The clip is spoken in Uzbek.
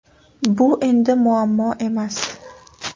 Bu endi muammo emas!